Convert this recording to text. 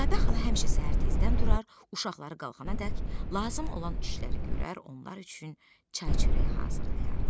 Südabə xala həmişə səhər tezdən durar, uşaqları qalxanadək lazım olan işləri görər, onlar üçün çay çörək hazırlayardı.